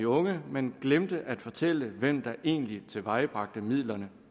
unge men glemte at fortælle hvem der egentlig tilvejebragte midlerne